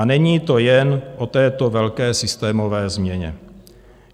A není to jen o této velké systémové změně.